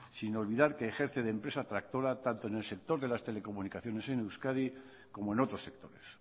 sin olvidar que ejerce de empresa tractora tanto en el sector de las telecomunicaciones en euskadi como en otros sectores